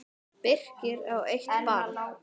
Birkir á eitt barn.